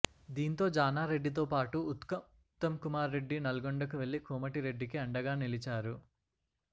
దీంతో జానారెడ్డితో పాటు ఉత్తమ్కుమార్రెడ్డి నల్గొండకు వెళ్లి కోమటిరెడ్డికి అండగా నిలిచారు